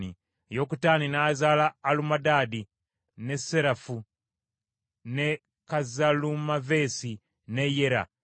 Yokutaani n’azaala Alumodaadi, ne Serefu, ne Kazalumaveesi, ne Yera;